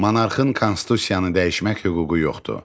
Monarxın konstitusiyanı dəyişmək hüququ yoxdur.